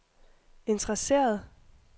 interesseret